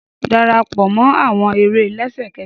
Darapọ mọ awọn ere lẹsẹkẹsẹ!